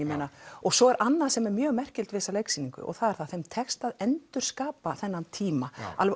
og svo er annað sem er mjög merkilegt við þessa leiksýningu og það er að þeim tekst að endurskapa þennan tíma